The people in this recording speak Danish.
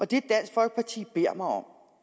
det dansk folkeparti beder mig om